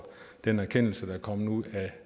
den erkendelse der er kommet ud af